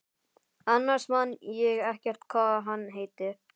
Annars man ég ekkert hvað hann heitir.